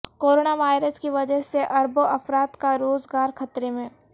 corona virus کی وجہ سے اربوں افراد کا روزگار خطرے میں